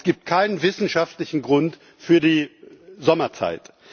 Es gibt also keinen wissenschaftlichen Grund für die Sommerzeit.